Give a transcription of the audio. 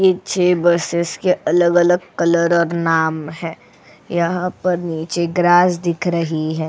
ये छह बसेस के अलग-अलग कलर और नाम है यहां पर नीचे ग्रास दिख रही है.